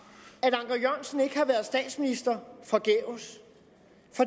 jørgensen ikke har været statsminister forgæves